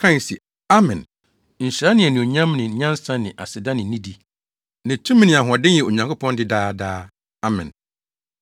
kae se, “Amen! Nhyira ne anuonyam ne nyansa ne aseda ne nidi ne tumi ne ahoɔden yɛ Onyankopɔn de daa daa! Amen!”